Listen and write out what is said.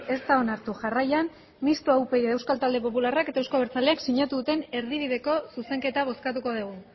ez da onartu jarraian mistoa upyd euskal talde popularrak eta euzko abertzaleak sinatu duten erdibideko zuzenketa bozkatuko dugu